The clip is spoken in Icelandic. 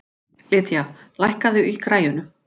Lydia, lækkaðu í græjunum.